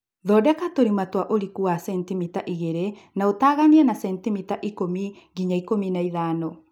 Thondeka tũrima twa ũriku wa sentimita igĩlĩ na ũtaganie na sentimita ikũmi nginya ikũmi na ithano